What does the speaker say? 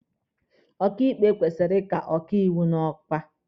Ọkaịkpe kwesịrị ịka ọkaiwu n'ọkwa.